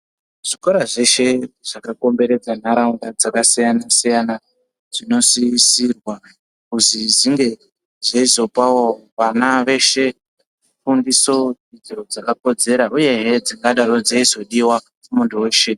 Zvikora zveshe zvakakomberedza ndaraunda dzakasiyana siyana zvinosisirwa kuzwi zvinge zveizopawo vana veshe fundiso dzakakodzera uyehe dzakadaro dzeizodiwa kumuntu weshe.